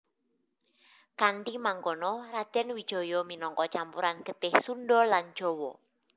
Kanthi mangkono Radèn Wijaya minangka campuran getih Sundha lan Jawa